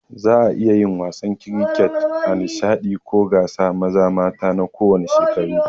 Za'a iya yin wasan kiriket a nishaɗi ko gasa, maza ko mata na kowanne shekaru.